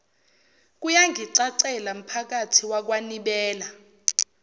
kuyangicacela mphakathi wakwanibela